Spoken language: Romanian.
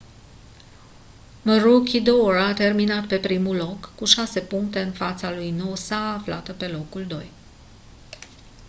maroochydore a terminat pe primul loc cu șase puncte în fața lui noosa aflată pe locul doi